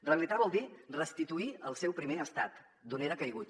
rehabilitar vol dir restituir al seu primer estat d’on era caigut